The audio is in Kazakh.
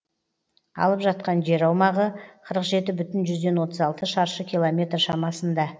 алып жатқан жер аумағы қырық жеті бүтін жүзден отыз алты шаршы километр шамасында